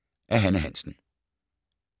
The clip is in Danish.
Af Hanne Hansen